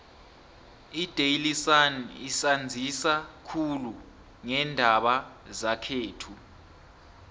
idaily sun isanzisa khulu ngeendaba zekhethu